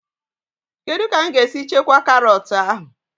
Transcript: Kedụ ka mụ ga-esi chekwaa karọt ahụ?